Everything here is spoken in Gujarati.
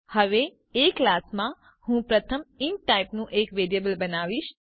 હવે એ ક્લાસમાં હું પ્રથમ ઇન્ટ ટાઇપનું એક વેરિયેબલ બનાવીશ